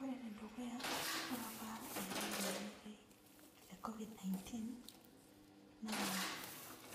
Ore enedukuya ore apa eetae ilobmetae le covid ninenteen na